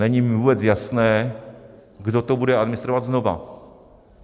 Není mi vůbec jasné, kdo to bude administrovat znova.